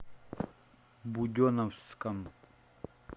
буденновском